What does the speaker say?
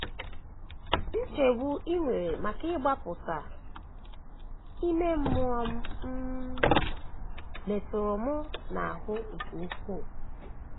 Nchegbu i nwere maka mgbapụta ime mmụọ m um metụrụ m n’ahụ nke ukwuu um.